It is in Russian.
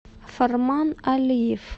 фарман алиев